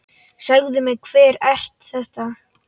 Segðu mér, hver er þetta?